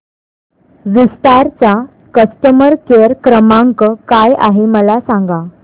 विस्तार चा customer care क्रमांक काय आहे मला सांगा